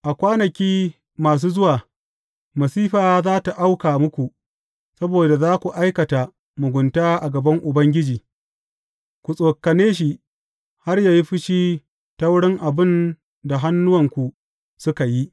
A kwanaki masu zuwa, masifa za tă auka muku saboda za ku aikata mugunta a gaban Ubangiji, ku tsokane shi har yă yi fushi ta wurin abin da hannuwanku suka yi.